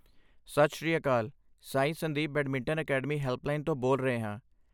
ਸਤਿ Sri Akal! Sai Sandeep badminton academy helpline ਤੋਂ ਬੋਲ ਰਹੇ ਹਾਂ।